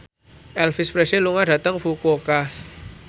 Elvis Presley lunga dhateng Fukuoka